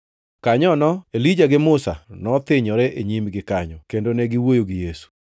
Kanyono, Elija gi Musa nothinyore e nyimgi kanyo, kendo ne giwuoyo gi Yesu.